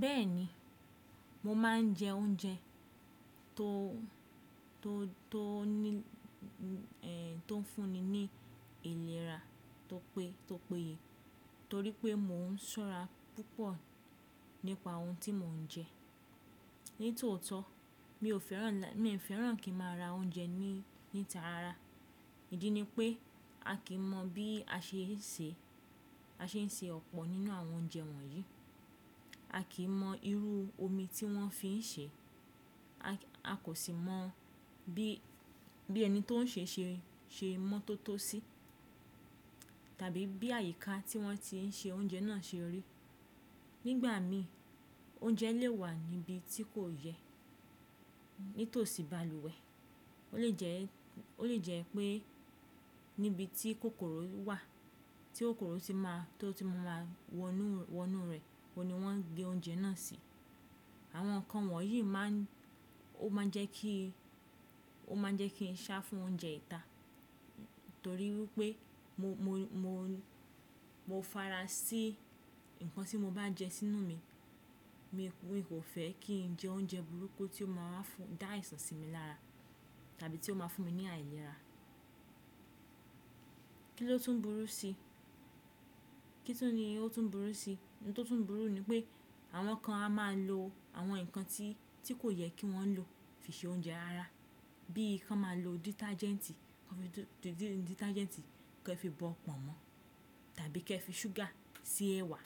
Bẹ́ẹ̀ni, mo máa ń jẹ oúnjẹ tó, tó, tó ní, tó ń fún ni ìlera tó pé, tó péye. Nítorí pé mò ń ṣọ́ra púpọ̀ nípa ohun tí mò ń jẹ. Nítòótọ́ mi ò fẹ́ràn, mi ò fẹ́ràn kí ń máa ra oúnjẹ ní, níta rara. Ìdí ni pé a kì í mọ bí a ṣe ń ṣe, a ṣe ń ṣe ọ̀pọ̀ nínú àwọn oúnjẹ wọ̀nyí. A kì í mọ irú omi tí wọ́n fi ń ṣe. A kò sì mọ bí, bí ẹni tó ń ṣe ṣe, ṣe mọ́tótó sí. Tàbí bí àyíká tí wọ́n ti ń ṣe oúnjẹ náà ṣe rí. Nígbà mi, oúnjẹ lè wà níbi tí kò yẹ. Nítòsí balùwẹ̀. Ó lè jẹ́, ó lè jẹ́ pé níbi tí kòkòrò wà, tí kòkòrò ti máa, tó ti máa wọ inú, wọ inú rẹ̀, ko ni wọ́n gé oúnjẹ náà sí. Àwọn nǹkan wọ̀nyí máa ń, ó máa ń jẹ́ kí, ó máa ń jẹ́ kí n sá fún oúnjẹ ìta. Nítorí wípé mo, mo, mo, mo fára sí ǹkan tí mo bá jẹ sínú mi. Mi kò fẹ́ kí ń jẹ oúnjẹ burúkú tí ó máa ń fún, dá àìsàn sí mi lára, tàbí tí ó máa fún mi ní àìlera. Kí ló tún burú sí? Kí tun ni ó tún burú sí? Ohun tó tún burú ni pé àwọn kan a máa lo àwọn ǹkan tí, tí kò yẹ kí wọ́n lò fi ṣe oúnjẹ rara. Bí i kan máa lo dítajẹ́ǹtì, kan fi dítajẹ́ǹtì, kan fi bọ pọ̀nmọ́. Tàbí kí ẹ fi ṣúgà sí ẹ̀wà.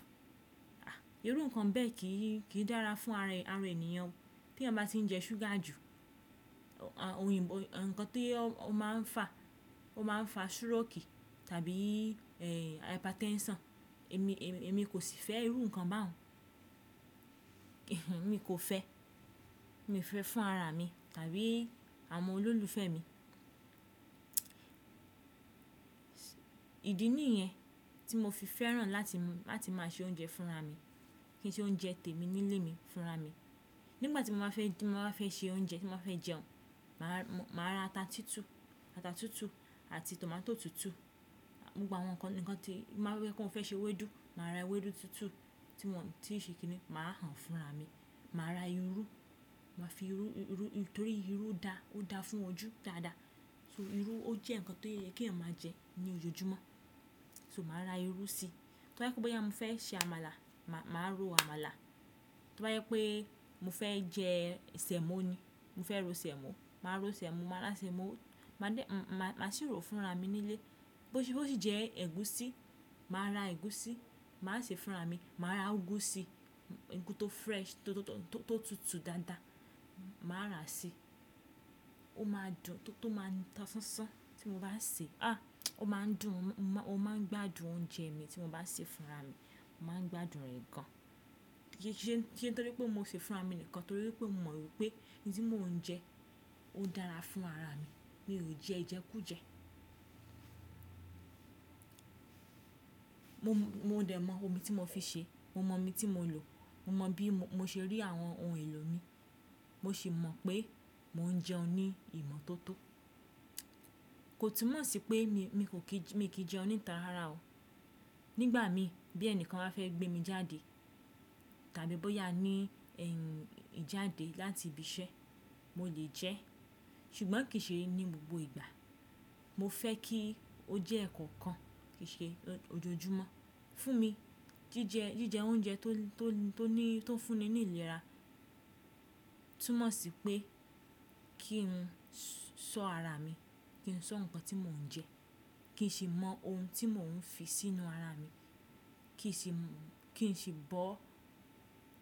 À, irú nǹkan bẹ́ẹ̀ kì í, kì í dára fún ara, ara ènìyàn. Tí ẹeyan bá tì ń jẹ ṣúgà jù, òyìnbó, ǹkan tí ó máa ń fà, ó máa ń fà súròkì tàbí, àtpatenṣọ̀n. Èmi, èmi kò sì fẹ́ irú nǹkan bẹ́ẹ̀. Mi kò fẹ́. Mi fẹ́ fún ara mi tàbí àwọn olólùfẹ́ mi. Ìdí nìyẹn tí mo fi fẹ́ràn láti, láti máa ṣe oúnjẹ fúnra mi. Kí n ṣe oúnjẹ tèmi nílé mi fúnra mi. Nígbà tí mo máa fẹ́, tí mo máa fẹ́ ṣe oúnjẹ, tí mo máa fẹ́ jẹun, màá ra ata tútù, ata tútù àti tòmátò tútù. Gbogbo àwọn nǹkan, nǹkan tí máa rí pé wọ́n fẹ́ ṣe ewédú, màá ra ewédú tútù tí wọn, tí wọ́n kò ṣe kiní, màá hàn fúnra mi. Màá ra irú, màá fi irú, irú, nítorí irú dá, ó dáa fún ojú dáadáa. So irú ó jẹ́ ǹkan tó yẹ kí ẹ̀yàn máa jẹ ní ojoojúmọ́. So màá ra irú sí i. To bá je wípé mi fẹ́ se àmàlà, màá ro àmàlà. Tobá wípé mo fẹ́ jẹ ṣẹ́mọ ni, mo fẹ́ ro ṣẹ́mọ, màá ro ṣẹ́mọ, màá ra ṣẹ́mọ, màá dé, màá sì rò fúnra mi nílé. Bó, bó sì jẹ́ ẹ̀gúsí, màá ra ẹ̀gúsí, màá sè é fúnra mi. Màá ra úgú sí i, úgú tó fresh tó, tó, tó, tó tútù dáadáa. Màá ra sí i. Ó máa dùn tó, tó máa tọ́ ṣánṣán tí mo bá sè é. Ó máa ń dùn, ó máa ń gbádùn oúnjẹ mi tí mo bá sè é fúnra mi. Mo máa ń gbádùn rẹ̀ gan. Kiise nítorí pé mo sè é fúnra mi nìkan. Nítorí wípé mò mọ wípé ohun tí mò ń jẹ, ó dára fún ara mi. Mi ò jẹ ìjẹkújẹ. Mo, mo dè mọ omi tí mo fi sè é. Mo mọ omi tí mo lò. Mo mọ bí mo ṣe rí àwọn ohun èlò mi. Mo sì mọ pé mò ń jẹun ní ìmọ̀ tó tó. Kò túmọ̀ sí pé mi, mi kò kí, mi kì í jẹun níta rara o. Nígbà mi bí ẹni kan bá fẹ́ gbé mi jáde tàbí bóyá ní, ìjáde láti ibi iṣẹ́, mo lè jẹ́. Ṣùgbọ́n kì í ṣe ní gbogbo ìgbà. Mo fẹ́ kí ó jẹ́ ẹ̀ẹ̀kọ̀kan. Kì í ṣe ojoojúmọ́. Fún mi jíjẹ, jíjẹ oúnjẹ tó, tó ní, tó fún ni ní ìlera, túmọ̀ sí pé kí n sọ́ ara mi, kí n sọ́ ǹkan tí mò ń jẹ́. Kì í ṣe mọ ohun tí mò ń fi sínú ara mi. Kì í ṣi, kì í ṣi bọ́.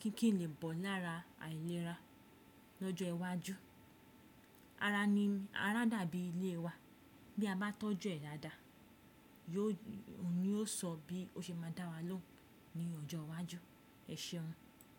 Kí, kí n lè bọ̀ lára àìlera lọ́jọ́ iwájú. Ara ni, ara dàbí ilé wa. Bí a bá tọ́jú ẹ dáadáa, yóò, òun ni yóò sọ bí ó ṣe máa dá wa lóhùn ní ọjọ́ iwájú. Ẹ ṣeun.